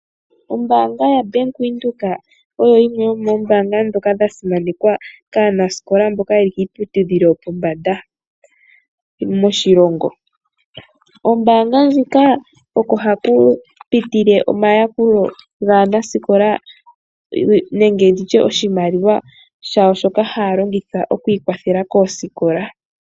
Ombaanga yobank Windhoek oyo yimwe yomoombaanga yasimanekwa kaanasikola mboka yeli kiiputudhilo yopombanda moshilongo. Kombaanga huka oko haku pitike omayakulo gaanasikola nenge nditye oshimaliwa shawo shoka haya longitha okwii kwathela koosikola.